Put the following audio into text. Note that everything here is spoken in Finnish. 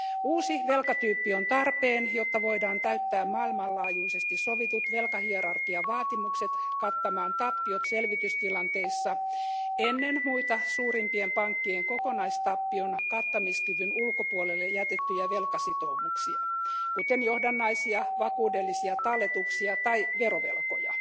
Uusi velkatyyppi on tarpeen, jotta voidaan täyttää maailmanlaajuisesti sovitut velkahierarkiavaatimukset kattamaan tappiot selvitystilanteissa ennen muita suurimpien pankkien kokonaistappion kattamiskyvyn ulkopuolelle jätettyjä velkasitoumuksia, kuten johdannaisia, vakuudellisia talletuksia tai verovelkoja.